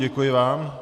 Děkuji vám.